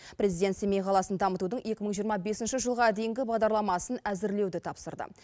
президент семей қаласын дамытудың екі мың жиырма бесінші жылға дейінгі бағдарламасын әзірлеуді тапсырды